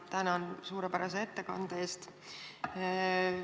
Tänan suurepärase ettekande eest!